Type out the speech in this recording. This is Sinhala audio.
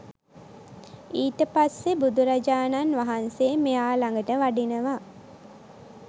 ඊට පස්සේ බුදුරජාණන් වහන්සේ මෙයා ලඟට වඩිනවා